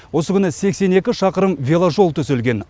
осы күні сексен екі шақырым веложол төселген